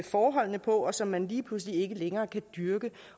forholdene på og som man lige pludselig ikke længere kan dyrke